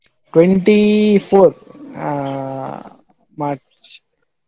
Twenty four ಆ March .